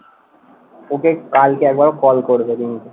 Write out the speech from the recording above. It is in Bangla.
ওকে কালকে একবার call করবে, রিমিকে।